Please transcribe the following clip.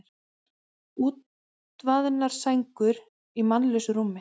Útvaðnar sængur í mannlausu rúmi.